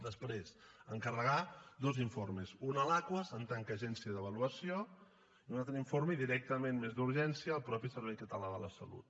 després encarregar dos informes un a l’aquas en tant que agència d’avaluació i un altre informe directament des d’urgència al mateix servei català de la salut